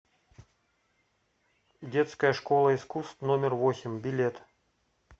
детская школа искусств номер восемь билет